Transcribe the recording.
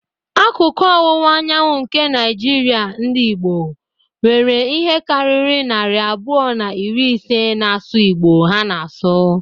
Akụkụ ọwụwa anyanwụ nke Naijiria ndị Igbo, nwere ihe karịrị narị abụọ na iri ise na-asụ Igbo ha na-asụ.